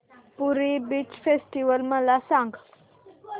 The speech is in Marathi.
पुरी बीच फेस्टिवल मला सांग